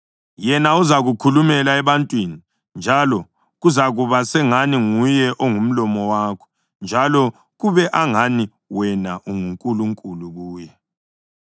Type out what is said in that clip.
Yena uzakukhulumela ebantwini, njalo kuzakuba sengani nguye ongumlomo wakho njalo kube angani wena unguNkulunkulu kuye.